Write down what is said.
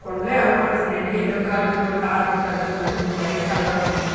కొండ్లే అగుడదతున్నాయండి yellow colour carpet పరిచుందండి ఒక బైక్ కనబడుతుందండి.